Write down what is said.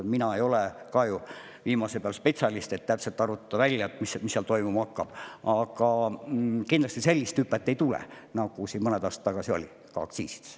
Mina ei ole ju viimase peal spetsialist, et täpselt arvutada välja, mis toimuma hakkab, aga kindlasti sellist hüpet ei tule, nagu siin mõned aastad tagasi oli aktsiiside puhul.